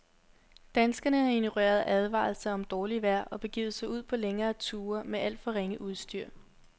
Danskerne har ignoreret advarsler om dårligt vejr og begivet sig ud på længere ture med alt for ringe udstyr.